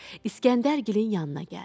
İskəndərgilin yanına gəldi.